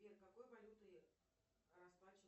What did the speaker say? сбер какой валютой расплачиваются